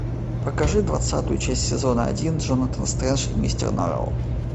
покажи двадцатую часть сезона один джонатан стрендж и мистер норрелл